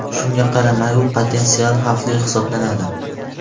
Shunga qaramay, u potensial xavfli hisoblanadi.